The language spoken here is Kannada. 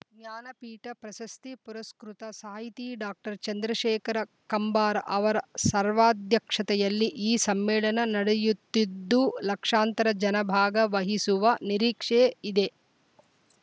ಜ್ಞಾನಪೀಠ ಪ್ರಶಸ್ತಿ ಪುರಸ್ಕೃತ ಸಾಹಿತಿ ಡಾಕ್ಟರ್ ಚಂದ್ರಶೇಖರ ಕಂಬಾರ ಅವರ ಸರ್ವಾ ಧ್ಯಕ್ಷತೆಯಲ್ಲಿ ಈ ಸಮ್ಮೇಳನ ನಡೆಯುತ್ತಿದ್ದು ಲಕ್ಷಾಂತರ ಜನ ಭಾಗ ವಹಿಸುವ ನಿರೀಕ್ಷೆ ಇದೆ